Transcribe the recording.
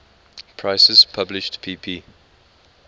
prices published pp